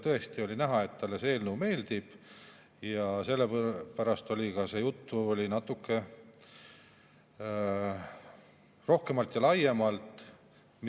Tõesti oli näha, et talle see eelnõu meeldib, ja sellepärast oli ka juttu natuke rohkem ja laiemalt.